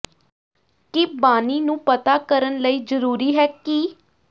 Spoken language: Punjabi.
ਕੀ ਬਾਨੀ ਨੂੰ ਪਤਾ ਕਰਨ ਲਈ ਜ਼ਰੂਰੀ ਹੈ ਕਿ